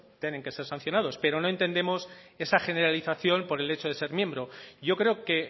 tienen que ser sancionados pero no entendemos esa generalización por el hecho de ser miembro yo creo que